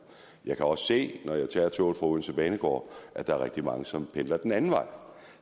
jeg kan også se når jeg tager toget fra odense banegård at der er rigtig mange som pendler den anden vej